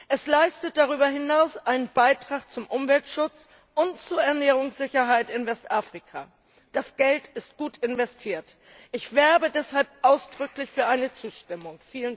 Es leistet darüber hinaus einen Beitrag zum Umweltschutz und zur Ernährungssicherheit in Westafrika. Das Geld ist gut investiert. Ich werbe deshalb ausdrücklich für eine Zustimmung!